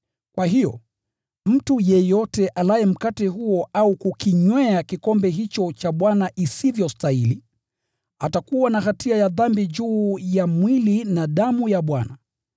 Kwa hiyo, mtu yeyote alaye mkate huo au kukinywea kikombe hicho cha Bwana isivyostahili, atakuwa na hatia ya dhambi juu ya mwili na damu ya Bwana.